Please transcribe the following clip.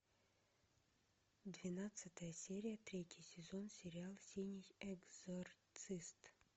двенадцатая серия третий сезон сериал синий экзорцист